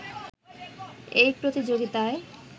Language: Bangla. এই প্রতিযোগিতায়